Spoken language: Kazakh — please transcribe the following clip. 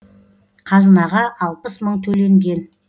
қазынаға алпыс мың төленген